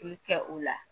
bɛ kɛ o la